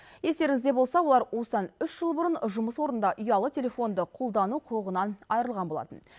естеріңізде болса олар осыдан үш жыл бұрын жұмыс орнында ұялы телефонды қолдану құқығынан айырылған болатын